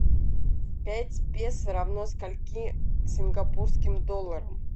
пять песо равно скольки сингапурским долларам